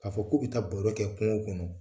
K' a fɔ k'u bi taa baro kɛ kungo kɔnɔ